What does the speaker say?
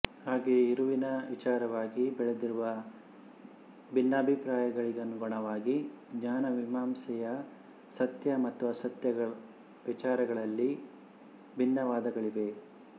ಹಾಗೆಯೇ ಇರವಿನ ವಿಚಾರವಾಗಿ ಬೆಳೆದಿರುವ ಭಿನ್ನಾಭಿಪ್ರಾಯಗಳಿಗನುಗುಣವಾಗಿ ಜ್ಞಾನಮೀಮಾಂಸೆಯ ಸತ್ಯ ಮತ್ತು ಅಸತ್ಯ ವಿಚಾರಗಳಲ್ಲಿ ಭಿನ್ನವಾದಗಳಿವೆ